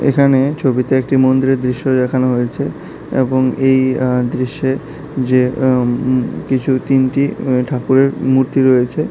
এখানে এই ছবিতে একটি মন্দিরের দৃশ্য দেখানো হয়েছে এবং এই আঃ দৃশ্যে যে এম কিছু তিনটি আঃ ঠাকুরের মূর্তি রয়েছে।